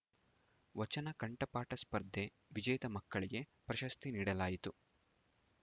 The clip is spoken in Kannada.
ವಚನ ಕಂಠಪಾಠ ಸ್ಪರ್ಧೆ ವಿಚೇತ ಮಕ್ಕಳಿಗೆ ಪ್ರಶಸ್ತಿ ನೀಡಲಾಯಿತು